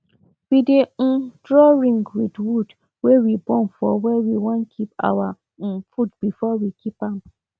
we dey um draw ring with wood wey we burn for where we wan keep our um food before we keep am